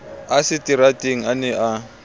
a seterateng a ne a